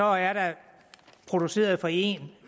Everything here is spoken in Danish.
er der produceret for en